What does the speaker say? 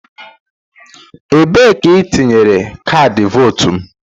Ebee ka I tinyere kaadị Votu m?